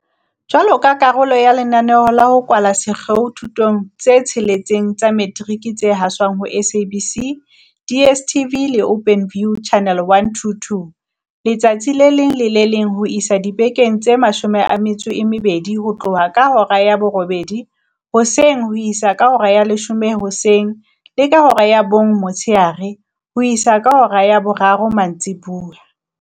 Jwaloka karolo ya lenaneo la ho kwala sekgeo dithutong tse tsheletseng tsa metiriki tse haswang ho SABC, DSTV le Openview, Channel 122, letsatsi le leng le le leng ho isa dibekeng tse 12, ho tloha ka hora ya borobedi hoseng ho isa ka hora ya leshome hoseng le ka hora ya bong motshehare ho isa ka hora ya boraro mantsibuya.